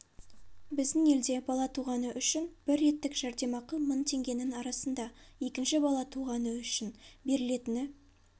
біздің елде бала туғаны үшін бір реттік жәрдемақы мың теңгенің арасында екінші бала туғаны үшін берілетіні